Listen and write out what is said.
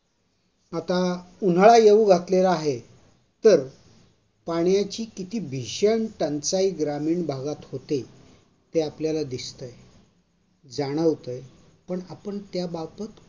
आता उन्हाळा येऊ वाटलेला आहे तर पाण्याची किती भीषण टंचाई ग्रामीण भागात होते ते आपल्याला दिसतंय जाणवतंय पण आपण त्याबाबत